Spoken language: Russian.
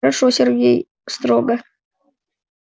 хорошо сергей строго